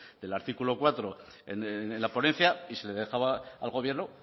del artículo cuatro en la ponencia y se le dejaba al gobierno